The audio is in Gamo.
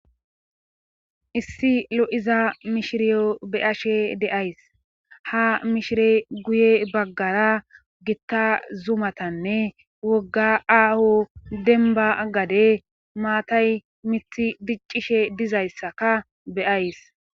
issi lo7iza mishiriyo beyashe deays ha mishire guye baggara gitta zumatanne wogga aaho denba gade maatay mithi diccishe dizayssaka beays